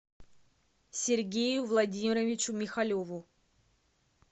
сергею владимировичу михалеву